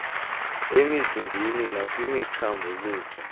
emzimbeni nakwimithambo luvo